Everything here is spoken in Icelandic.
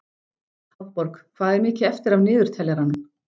Hafborg, hvað er mikið eftir af niðurteljaranum?